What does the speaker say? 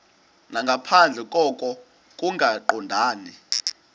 nangaphandle koko kungaqondani